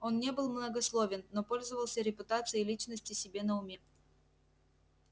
он не был многословен но пользовался репутацией личности себе на уме